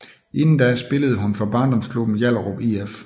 Inden da spillede hun for barndomsklubben Hjallerup IF